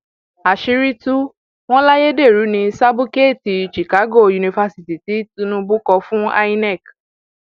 àṣírí tú wọn láyédèrú ní sábúkẹẹtì chicago yunifásitì tí tinubu kọ fún inec